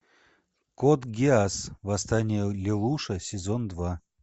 код гиас восстание лелуша сезон два